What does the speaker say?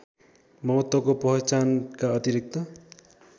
महत्त्वको पहचानका अतिरिक्त